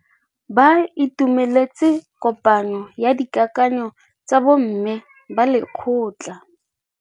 Ba itumeletse kôpanyo ya dikakanyô tsa bo mme ba lekgotla.